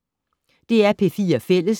DR P4 Fælles